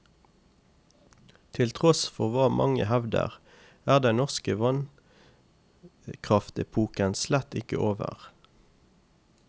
Til tross for hva mange hevder, er den norske vannkraftepoken slett ikke over.